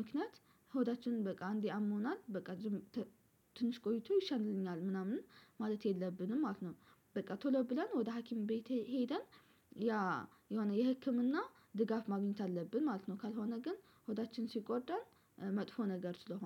ምክንያት ሆዳችንን በቃ አንዴ አሞናል በቃ ዝም ትንሽ ቆይቶ ይሻለኛል ምናምን ማለት የለብንም ማለት ነው። በቃ ቶሎ ብለን ወደ ሀኪም ቤቴ ሄደን ያ የሆነ የህክምና ድጋፍ ማግኘት አለብን ማለት ነው። ካልሆነ ግን ሆዳችን ሲጎዳ መጥፎ ነገር ስለሆነ